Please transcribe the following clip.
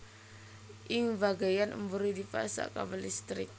Ing bagéyan mburi dipasang kabel listrik